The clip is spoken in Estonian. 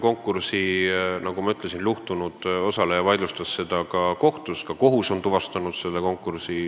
Nagu ma ütlesin, konkursil osaleja, kes kaotas, vaidlustas selle kohtus.